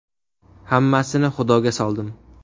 Hammasini Xudoga soldim.